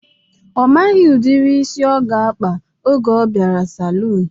Ọ maghị udiri isi ọ ga-akpa oge ọ bịara saluun